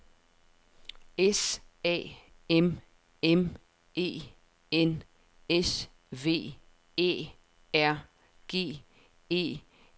S A M M E N S V Æ R G E L S E